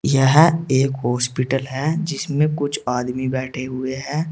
यह एक हॉस्पिटल है जिसमें कुछ आदमी बैठे हुए हैं।